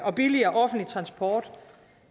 og billigere offentlig transport og